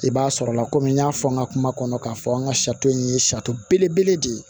I b'a sɔrɔla komi n y'a fɔ n ka kuma kɔnɔ k'a fɔ an ka sari in ye sari belebele de ye